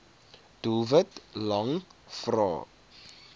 doelwit lang vrae